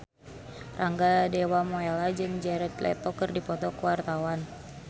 Rangga Dewamoela jeung Jared Leto keur dipoto ku wartawan